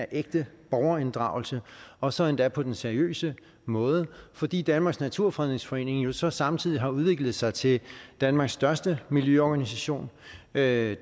ægte borgerinddragelse og så endda på den seriøse måde fordi danmarks naturfredningsforening jo så samtidig har udviklet sig til danmarks største miljøorganisation med